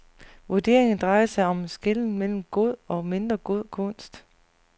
Vurderingerne drejer sig om en skelnen mellem god og mindre god kunst.